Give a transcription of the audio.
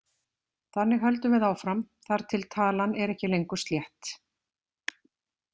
Þannig höldum við áfram þar til talan er ekki lengur slétt.